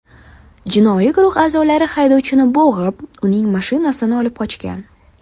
Jinoiy guruh a’zolari haydovchini bo‘g‘ib, uning mashinasini olib qochgan.